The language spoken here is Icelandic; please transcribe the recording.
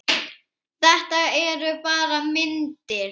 Þetta eru bara myndir!